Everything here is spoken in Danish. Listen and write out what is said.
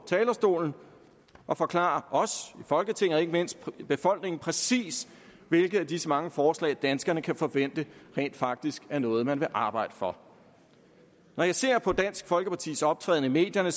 talerstolen og forklare os i folketinget og ikke mindst befolkningen præcis hvilke af disse mange forslag danskerne kan forvente rent faktisk er noget man vil arbejde for når jeg ser på dansk folkepartis optræden i medierne